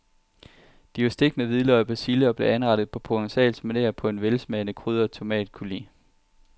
De var stegt med hvidløg og persille og blev anrettet på provencalsk maner på en velsmagende krydret tomatcoulis.